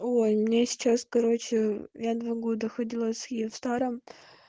ой у меня сейчас короче я два года ходила с киевстаром